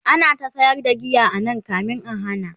ana ta sayar da giya anan da kamin a hana